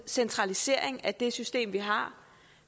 centralisering af det system vi har